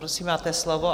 Prosím, máte slovo.